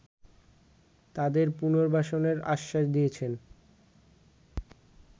তাদের পুনর্বাসনের আশ্বাস দিয়েছেন